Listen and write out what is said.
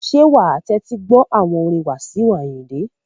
Ṣé wa tẹ́tí gbọ́ àwọn orin Wasiu Ayinde?